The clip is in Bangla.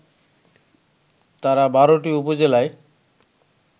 তারা ১২টি উপজেলায়